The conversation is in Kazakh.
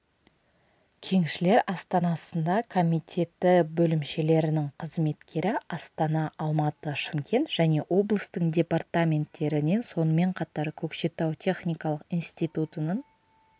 кеншілер астанасында комитеті бөлімшелерінің қызметкері астана алматы шымкент және облыстың департаменттерінен сонымен қатар көкшетау техникалық институтының